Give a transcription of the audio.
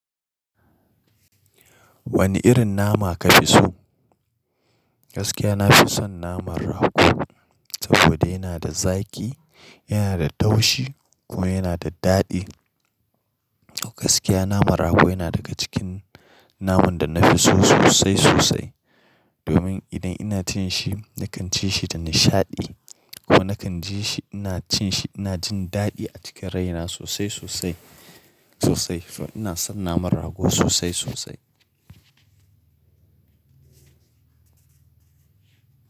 Wani irin nama kafi so? Gaskiya nafi son naman rago saboda yana da zaƙi, yana da taushi kuma yana da daɗi. A gaskiya naman rago yana daga cikin naman da nafi so sosai sosai. Domin idan ina cin shi, na kan ci shi da nishaɗi kuma na kan ji shi ina cin shi ina jin daɗi a cikin rai na sosai sosai sosai. Toh ina son naman rago sosai sosai.